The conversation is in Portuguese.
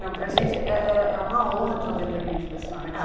Não, para gente é uma honra ter o depoimento da senhora aqui.